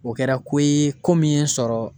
O kɛra ko ye ko min ye n sɔrɔ